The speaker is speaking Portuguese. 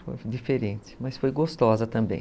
Foi diferente, mas foi gostosa também.